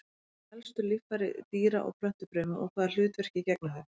Hver eru helstu líffæri dýra- og plöntufrumu og hvaða hlutverki gegna þau?